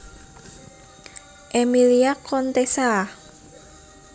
Emilia Contessa